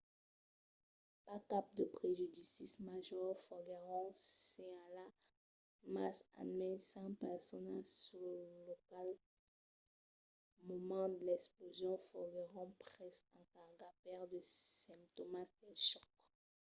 pas cap de prejudicis majors foguèron senhalats mas almens cinc personas sul lòc al moment de l'explosion foguèron preses en carga per de simptòmas del chòc